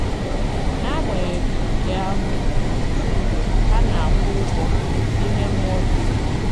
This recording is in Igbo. N'agbanyeghị nke ahụ, ọtụtụ mgbe, ha na-akwụ ụgwọ ime mmụọ dị egwu.